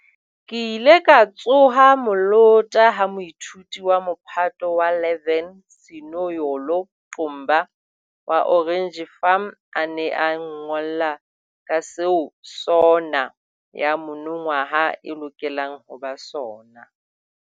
Ke ile ka tsoha molota ha moithuti wa Mophato wa 11 Sinoyolo Qumba wa Orange Farm a ne a nngolla ka seo SONA ya monongwaha e lokelang ho ba sona.